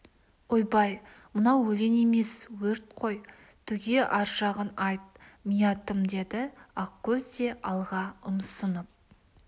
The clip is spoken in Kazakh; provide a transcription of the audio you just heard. ойбай мынау өлең емес өрт қой түге ар жағын айт миятым деді ақкөз де алға ұмсынып